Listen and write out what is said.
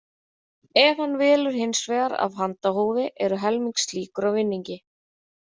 Ef hann velur hins vegar af handahófi eru helmings líkur á vinningi.